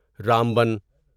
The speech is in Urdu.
رامبن